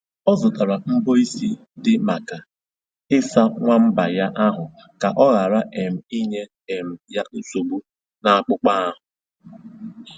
O zụtara mbọ isi dị maka ịsa nwamba ya ahụ ka ọ ghara um inye um ya nsogbu n'akpụkpọ ahụ